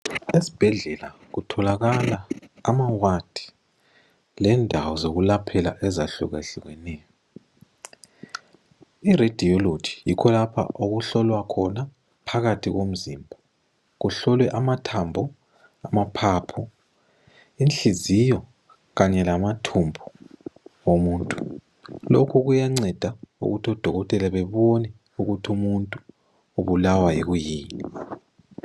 esibhedlela kutholakala amawadi lendawo zokulaphela ezehluka hlukeneyo iradiology yikho lapha okuhlolwa khona phakathi komzimba kuhlolwe amathmba amaphapho inhliziyo kanye lamathubu omuntu lokhu kuyanceda ukuthi odokotela bebona ukuthi umuntu ubulawa kuyini